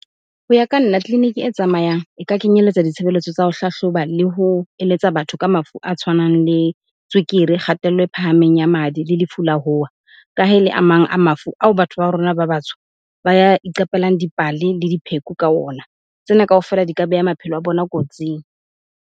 Ho ya ka nna tleliniki e tsamayang e ka kenyelletsa ditshebeletso tsa ho hlahloba le ho eletsa batho ka mafu a tshwanang le tswekere, kgatello e phahameng ya madi le lefu la ho wa. Ka ha ele a mang a mafu ao batho ba rona ba batsho ba ya iqapelang dipale le dipheko ka ona. Tsena kaofela di ka beha maphelo a bona kotsing.